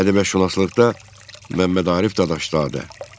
Ədəbiyyatşünaslıqda Məmmədarif Dadaşzadə.